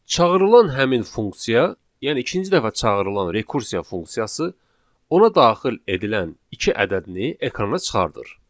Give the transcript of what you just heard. Çağırılan həmin funksiya, yəni ikinci dəfə çağırılan rekursiya funksiyası ona daxil edilən iki ədədini ekrana çıxardır.